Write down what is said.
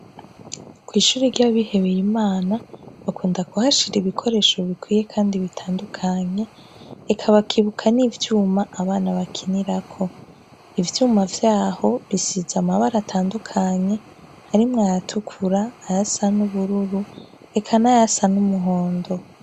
Kwishure ryabihebeye imana bakunda kuhashira ibikoresho bikwiye kandi bitandukanye eka bakibuka nivyuma abana bakinirako, ivyuma vyaho bisize amabara atandukanye harimwo ayatukura, ayasa nubururu eka nayasa numuhondo.